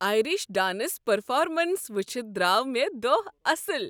Irish dance performance وٕچھتھ درٛاو مےٚ دۄہ اصٕل۔